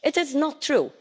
It is not true.